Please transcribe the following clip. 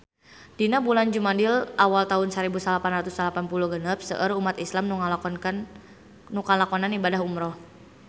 Dina bulan Jumadil awal taun sarebu salapan ratus salapan puluh genep seueur umat islam nu ngalakonan ibadah umrah